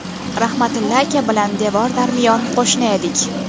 Rahmatilla aka bilan devor-darmiyon qo‘shni edik.